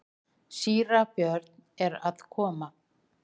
Síra Björn er að koma!